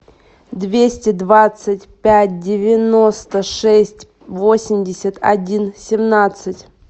двести двадцать пять девяносто шесть восемьдесят один семнадцать